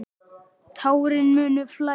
Tárin munu flæða.